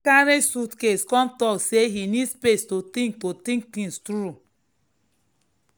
he carry suitcase come talk say he need space to think to think things through.